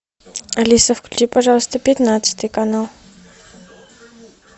алиса включи пожалуйста пятнадцатый канал